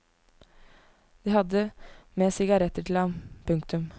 De hadde med sigaretter til ham. punktum